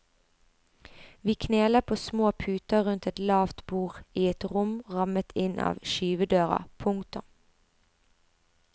Vi kneler på små puter rundt et lavt bord i et rom rammet inn av skyvedører. punktum